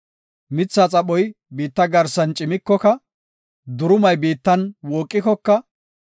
Mithaa xaphoy biitta garsan cimikoka, durumay biittan wooqikoka,